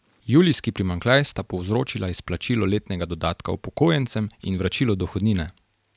Julijski primanjkljaj sta povzročila izplačilo letnega dodatka upokojencem in vračilo dohodnine.